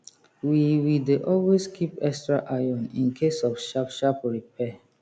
we we dey always keep extra iron incase of sharp sharp repair